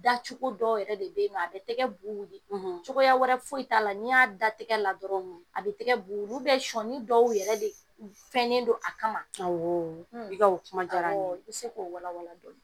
Dacogo dɔ yɛrɛ de be yennɔ a be tɛgɛ bu wili cogoya wɛrɛ foyi t'a la n'i y'a da tɛgɛ la dɔrɔn a be tɛgɛ bu wili sɔɔni dɔw yɛrɛ de u fɛnnen don a kama awɔɔ i ka o kuma diyara n ye awɔɔ i be se k'o wala-wala dɔni.